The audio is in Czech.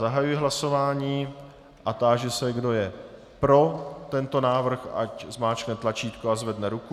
Zahajuji hlasování a táži se, kdo je pro tento návrh, ať zmáčkne tlačítko a zvedne ruku.